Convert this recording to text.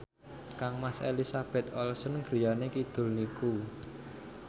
kangmas Elizabeth Olsen griyane kidul niku